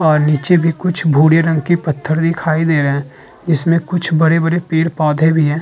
और नीचे भी कुछ भूरे रंग के पत्थर दिखाई दे रहे हैं। इसमे कुछ बड़े-बड़े पेड़ पौधे भी हैं।